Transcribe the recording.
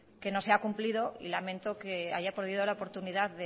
que no se ha cumplido y lamento que haya perdido la oportunidad